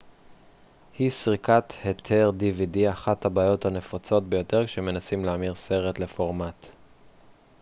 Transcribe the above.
אחת הבעיות הנפוצות ביותר כשמנסים להמיר סרט לפורמט dvd היא סריקת היתר